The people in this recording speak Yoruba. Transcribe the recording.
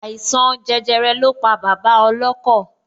Àìsàn jẹjẹrẹ lọ pa bàbá ọlọ́kọ̀